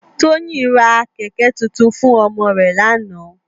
Toyin rá kèkè tútún fún òmò rè làná